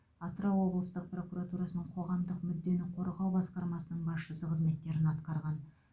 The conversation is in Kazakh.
атырау облыстық прокуратурасының қоғамдық мүддені қорғау басқармасының басшысы қызметтерін атқарған